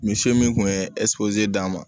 Misi min kun ye d'a ma